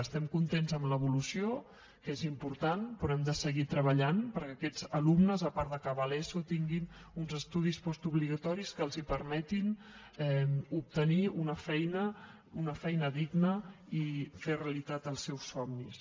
estem contents amb l’evolució que és important però hem de seguir treballant perquè aquests alumnes a part d’acabar l’eso tinguin uns estudis postobligatoris que els permetin obtenir una feina una feina digna i fer realitat els seus somnis